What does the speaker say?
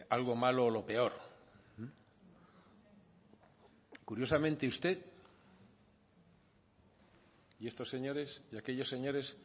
algo malo o lo peor curiosamente usted y estos señores y aquellos señores